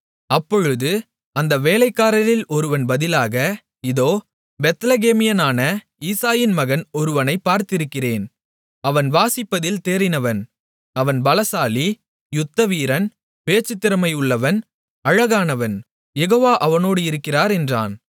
அப்பொழுது அந்த வேலைக்காரரில் ஒருவன் பதிலாக இதோ பெத்லெகேமியனான ஈசாயின் மகன் ஒருவனை பார்த்திருக்கிறேன் அவன் வாசிப்பதில் தேறினவன் அவன் பலசாலி யுத்தவீரன் பேச்சு திறமை உள்ளவன் அழகானவன் யெகோவா அவனோடு இருக்கிறார் என்றான்